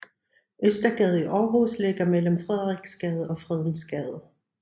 Østergade i Aarhus ligger mellem Frederiksgade og Fredensgade